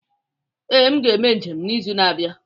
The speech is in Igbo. Ee, m ga-eme njem n'izu na-abịa.